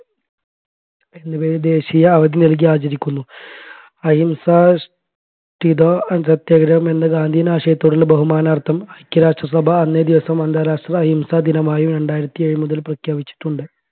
എന്നിവയെ ദേശിയ അവധി നൽകി അആചരിക്കുന്നു. അഹിംസാധിഷ്ഠിത സത്യാഗ്രഹം എന്ന ഗാന്ധിയൻ ആശയത്തോടുള്ള ബഹുമാനാർത്ഥം ഐക്യരാഷ്ട്രസഭ അന്നേ ദിവസം അന്താരാഷ്ട്ര അഹിംസ ദിനമായും രണ്ടായിരത്തി ഏഴ് മുതൽ പ്രഖ്യാപിച്ചിട്ടുണ്ട്